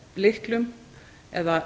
lyklum eða